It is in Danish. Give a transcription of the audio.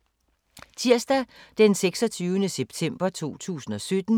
Tirsdag d. 26. september 2017